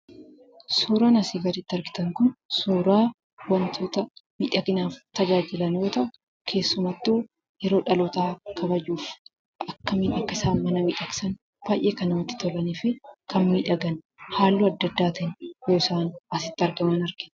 Suuraan asii gaditti argitan kun suuraa wantoota miidhaginaaf tajaajilan yoo ta'u keessumattuu yeroo dhalootaa kabajuuf akkamiin akkasaan mana miidhagsan baay'ee kan namatti tolanii fi kan miidhagan halluu adda addaatiin yeroo isaan asitti argaman argina.